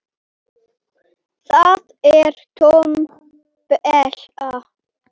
Það er tóm della.